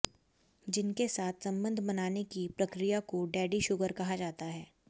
जिनके साथ संबध बनाने की प्रक्रिया को डेडी शुगर कहा जाता है